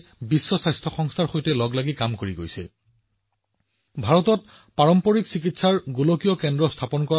March ২০২১ত বিশ্ব স্বাস্থ্য সংস্থাই ঘোষণা কৰিছিল যে ভাৰতত পৰম্পৰাগত ঔষধৰ বাবে এক গোলকীয় কেন্দ্ৰ স্থাপন কৰা হব